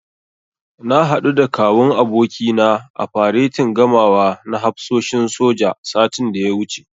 Na haɗu da Kawun abokina a faretin gamawa na hafsoshin soja, satin da ya wuce.